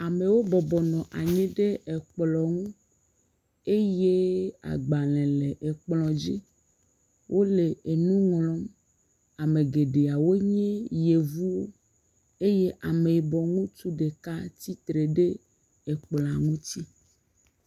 Amewo bɔbɔ nɔ anyi ɖe ekplɔ ŋu eye agblẽ le ekplɔ dzi wole enu ŋlɔm, ame geɖewo nye yevu eye ameyibɔ ŋutsu ɖeka tsitre ɖe ekplɔa ŋuti.